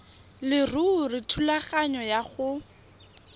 leruri thulaganyo ya go